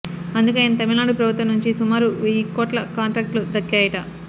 అందుకే ఆయన తమిళనాడు ప్రభుత్వం నుంచి సుమారు వెయ్యి కోట్ల కాంట్రాక్టులు దక్కాయట